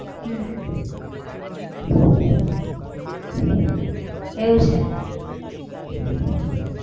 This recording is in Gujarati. હમ એવું છે